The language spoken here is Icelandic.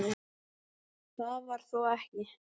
Það var þó ekki